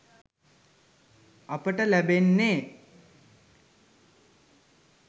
අපට ලැබෙන්නෙ.